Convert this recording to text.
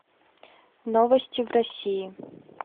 новости в россии